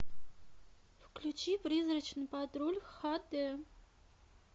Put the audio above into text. включи призрачный патруль ха дэ